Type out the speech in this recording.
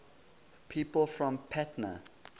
people from patna